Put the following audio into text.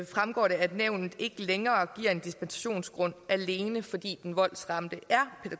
fremgår at nævnet ikke længere giver en dispensationsgrund alene fordi den voldsramte er